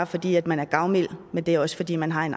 fordi man er gavmild men det er også fordi man har en